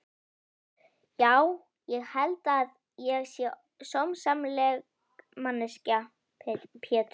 Já ég held að ég sé sómasamleg manneskja Pétur.